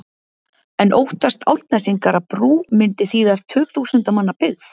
En óttast Álftnesingar að brú myndi þýða tugþúsunda manna byggð?